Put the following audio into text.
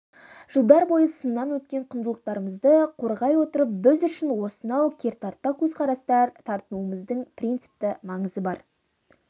жылдар бойы сыннан өткен құндылықтарымызды қорғай отырып біз үшін осынау кертартпа көзқарастан тартынуымыздың принципті маңызы бар